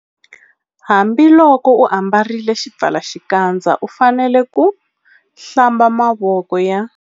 Hambiloko u ambarile xipfalaxikandza u fanele ku- Hlamba mavoko ya.